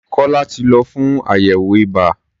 Kọ́lá ti lọ fún àyẹ̀wò ibà.